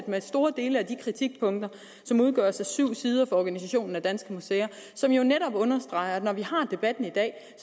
med store dele af de kritikpunkter som udgøres af syv sider fra organisationen danske museer som netop understreger at når vi har debatten i dag